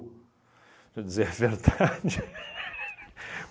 Deixa eu dizer é verdade